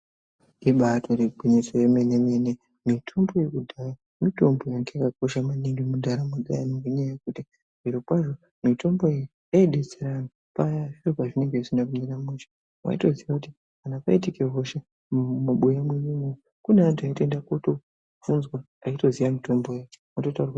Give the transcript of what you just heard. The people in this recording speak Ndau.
Ibaitori gwinyiso yemene mene mitombo yekudhaya mitombo yanga yakakosha maningi muntaramo dzevantu ngenyaa yekuti zvirokwazvo mitombo iyi yai detsera antu paya zviro pazvinenge zvisina kumira mushe waitoziya kuti kana paitike hosha mumabuya mwenyu imomo kune vantu vaitoenda kotobvunzwa aitoziya mitombo iyoyo oto taurirwa.